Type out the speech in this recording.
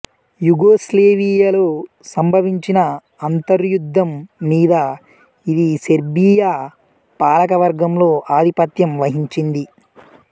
యుగోస్లేవియాలో సంభవించిన అంతర్యుద్ధం మీద ఇది సెర్బియా పాలక వర్గంలో ఆధిపత్యం వహించింది